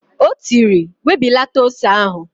O tiri, "webilata ose ahụ"!